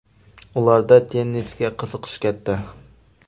Ularda tennisga qiziqish katta.